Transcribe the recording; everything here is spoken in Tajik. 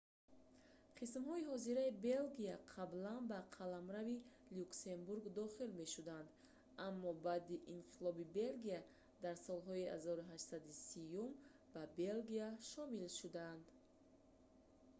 қисмҳои ҳозираи белгия қаблан ба қаламрави люксембург дохил мешуданд аммо баъди инқилоби белгия дар солҳои 1830-юм ба белгия шомил шуданд